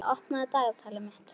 Nikoletta, opnaðu dagatalið mitt.